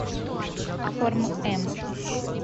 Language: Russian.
форм м